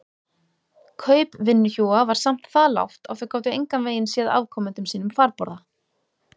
Kaup vinnuhjúa var samt það lágt að þau gátu engan veginn séð afkomendum sínum farborða.